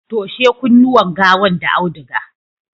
toshe kunnuwan gawan da auduga!